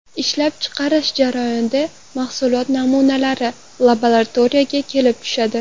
Ishlab chiqarish jarayonida mahsulot namunalari labaratoriyaga kelib tushadi.